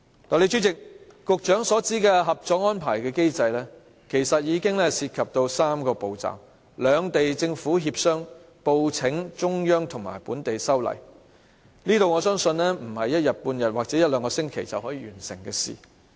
代理主席，局長所指的《合作安排》的機制，其實涉及3個步驟：兩地政府協商、報請中央及本地修例，我相信這不是一天半天或一兩星期便可完成的事。